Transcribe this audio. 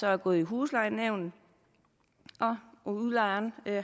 er gået i huslejenævnet og udlejeren